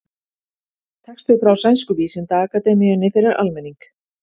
Texti frá Sænsku vísindaakademíunni fyrir almenning.